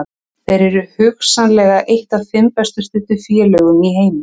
Þeir eru hugsanlega eitt af fimm best studdu félögum í heimi.